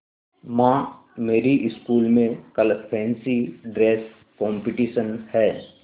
माँ मेरी स्कूल में कल फैंसी ड्रेस कॉम्पिटिशन है